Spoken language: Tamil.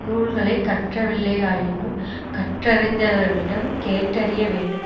நூல்களை கற்றவில்லையாயினும் கற்றறிந்தவர்களிடம் கேட்டறிய வேண்டும்